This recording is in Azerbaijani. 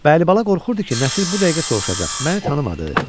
Və Əlibala qorxurdu ki, Nəsir bu dəqiqə soruşacaq, məni tanımadı?